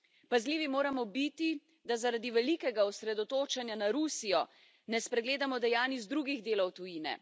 Pazljivi moramo biti, da zaradi velikega osredotočanja na Rusijo ne spregledamo dejanj iz drugih delov tujine.